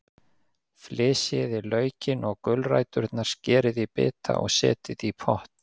Flysjið laukinn og gulræturnar, skerið í bita og setjið í pott.